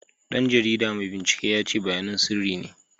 Dan jaridar mai binciken ya ce bayanan sirri ne.